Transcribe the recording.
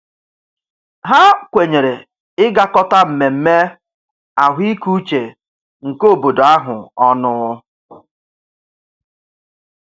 Ha kwenyere ịgakọta mmemme ahụikeuche nke obodo ahụ ọnụ.